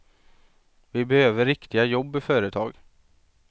Vi behöver riktiga jobb i företag.